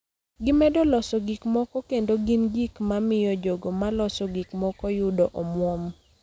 Gimedo loso gik moko kendo gin gik ma miyo jogo ma loso gik moko yudo omwom.